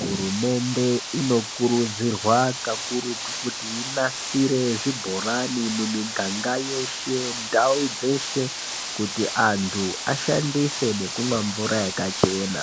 Hurumende inokurudzirwa kakurutu kuti inasire zvibhorani mumiganga yeshe, ndau dzeshe kuti antu ashandise ngekumwa mvura yakachena.